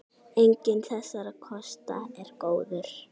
Enginn þessara kosta er góður.